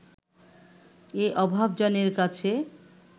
এ অভাজনের কাছে